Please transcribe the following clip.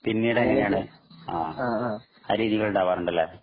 പിന്നീട് എങ്ങനെയാണ് ആഹ് ആ രീതിയിൽ ഉണ്ടാവാറുണ്ടല്ലേ